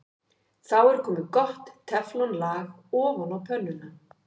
Þá er komið gott teflon-lag ofan á pönnuna.